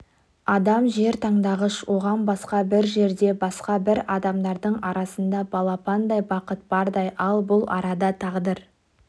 адам жер таңдағыш оған басқа бір жерде басқа бір адамдардың арасында балпандай бақыт бардай ал бұл арада тағдыр